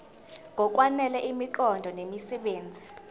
ngokwanele imiqondo nemisebenzi